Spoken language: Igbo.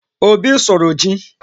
Obi sụrụ ji